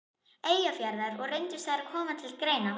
Eyjafjarðar, og reyndust þær koma til greina.